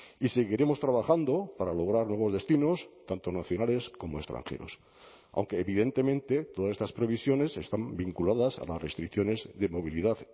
y seguiremos trabajando para lograr nuevos destinos tanto nacionales como extranjeros aunque evidentemente todas estas previsiones están vinculadas a las restricciones de movilidad